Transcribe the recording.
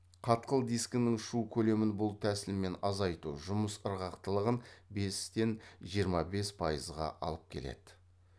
қатқыл дискінің шу көлемін бұл тәсілмен азайту жұмыс ырғақтылығын бестен жиырма бес пайызға алып келеді